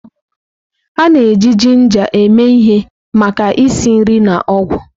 A na-eji jinja eme ihe maka isi nri na ọgwụ.